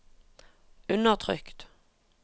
undertrykt